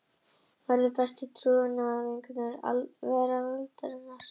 Verða bestu trúnaðarvinkonur veraldarinnar.